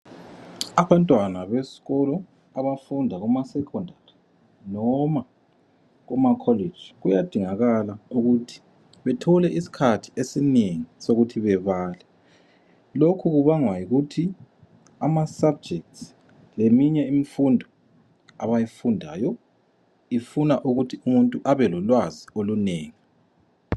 Abantwana besikolo abafunda kuma Secondary noma kumakholeji kuyadingakala ukuthi bethole isikhathi esinengi sokuthi bebale. Lokhu kubangwa yikuthi amasubjects leminye imfundo abayifundayo ifuna ukuthi umuntu ebe lolwazi olunengi.